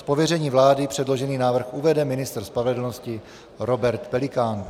Z pověření vlády předložený návrh uvede ministr spravedlnosti Robert Pelikán.